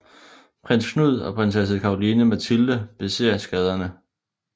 Prins Knud og prinsesse Caroline Mathilde beser skaderne